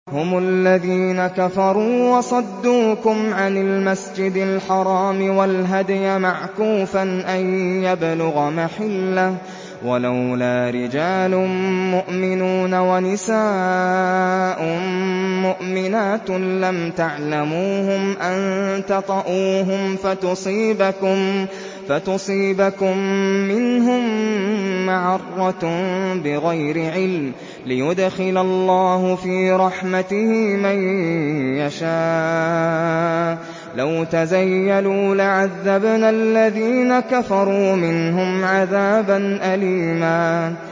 هُمُ الَّذِينَ كَفَرُوا وَصَدُّوكُمْ عَنِ الْمَسْجِدِ الْحَرَامِ وَالْهَدْيَ مَعْكُوفًا أَن يَبْلُغَ مَحِلَّهُ ۚ وَلَوْلَا رِجَالٌ مُّؤْمِنُونَ وَنِسَاءٌ مُّؤْمِنَاتٌ لَّمْ تَعْلَمُوهُمْ أَن تَطَئُوهُمْ فَتُصِيبَكُم مِّنْهُم مَّعَرَّةٌ بِغَيْرِ عِلْمٍ ۖ لِّيُدْخِلَ اللَّهُ فِي رَحْمَتِهِ مَن يَشَاءُ ۚ لَوْ تَزَيَّلُوا لَعَذَّبْنَا الَّذِينَ كَفَرُوا مِنْهُمْ عَذَابًا أَلِيمًا